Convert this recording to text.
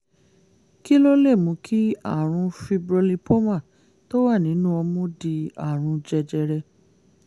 kí ló lè mú kí àrùn fibrolipoma tó wà nínú ọmú di àrùn jẹjẹrẹ?